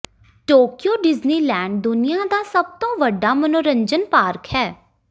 Tokyo Disneyland ਦੁਨੀਆਂ ਦਾ ਸਭ ਤੋਂ ਵੱਡਾ ਮਨੋਰੰਜਨ ਪਾਰਕ ਹੈ